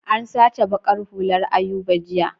An sace baƙar hullar Ayuba jiya.